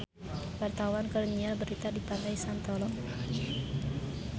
Wartawan keur nyiar berita di Pantai Santolo